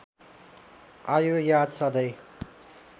आयो याद सधैँ